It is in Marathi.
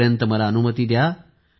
तोपर्यंत मला अनुमती द्या